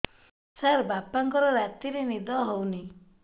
ସାର ବାପାଙ୍କର ରାତିରେ ନିଦ ହଉନି